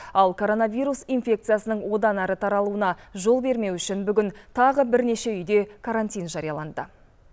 ал коронавирус инфекциясының одан әрі таралуына жол бермеу үшін бүгін тағы бірнеше үйде карантин жарияланды